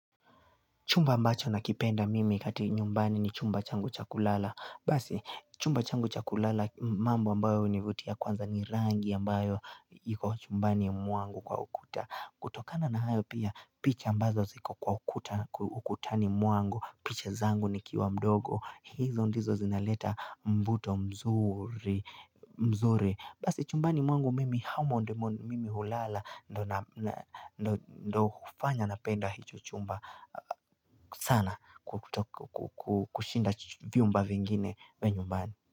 Chumba ambacho nakipenda mimi kati nyumbani ni chumba changu cha kulala. Basi, chumba changu cha kulala mambo ambayo univutia kwanza ni rangi ambayo yiko chumbani mwangu kwa ukuta. Kutokana na hayo pia, picha ambazo ziko kwa ukuta ukutani mwangu, picha zangu nikiwa mdogo. Hizo ndizo zinaleta mvuto mzuri. Basi, chumbani mwangu mimi hamo ndimo mimi hulala, ndo hufanya napenda hicho chumba. Sana kushinda vyumba vingine vya nyumbani.